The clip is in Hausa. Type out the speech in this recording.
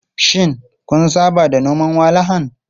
Shin kun saba da noman walahan?